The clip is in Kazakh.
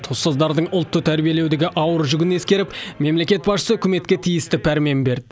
ұстаздардың ұлтты тәрбиелеудегі ауыр жүгін ескеріп мемлекет басшысы үкіметке тиісті пәрмен берді